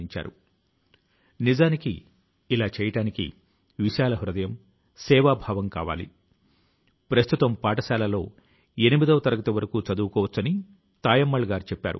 చదువు తో మొదలుపెట్టి అనేక విషయాల లో తాను పడిన ఇబ్బందులు మరెవరికీ రాకూడదు అని విట్ఠలాచార్య గారు అంటారు